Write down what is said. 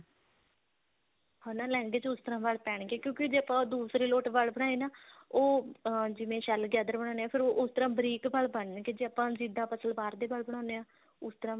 ਹਨਾ ਲਹਿੰਗੇ ਚ ਉਸ ਤਰ੍ਹਾਂ ਵਲ ਪੈਣਗੇ ਕਿਉਂਕਿ ਜੇ ਆਪਾਂ ਦੂਸਰੇ ਲੋਟ ਵਲ ਬਨਾਏ ਨਾ ਉਹ ਅਹ ਜਿਵੇਂ shell gather ਬਣਾਦੇ ਹਾਂ ਫਿਰ ਉਸ ਤਰ੍ਹਾਂ ਬਰੀਕ ਵਲ ਬਣਨਗੇ ਜੇ ਆਪਾਂ ਜਿੱਦਾਂ ਆਪਾਂ ਸਲਵਾਰ ਦੇ ਵਲ ਬਣਾਉਂਦੇ ਹਾਂ ਉਸ ਤਰ੍ਹਾਂ